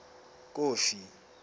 kofi